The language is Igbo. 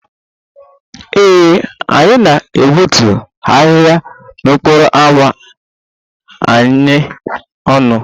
Ee, anyị ga-egbutu ahịhịa n'okporo ámá anyị ọnụ